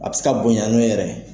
A bɛ se ka bonya ne yɛrɛ ye.